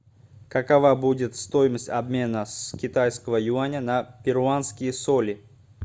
какова будет стоимость обмена с китайского юаня на перуанские соли